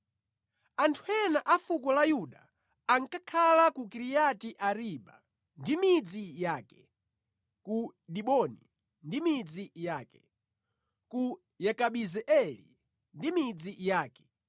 Anthu ena a fuko la Yuda ankakhala ku Kiriyati-Ariba ndi midzi yake, ku Diboni ndi midzi yake, ku Yekabizeeli ndi midzi yake,